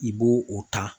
I b'o o ta